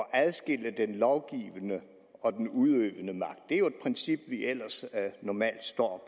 at adskille den lovgivende og den udøvende magt det er jo et princip vi ellers normalt står